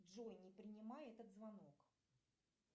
джой не принимай этот звонок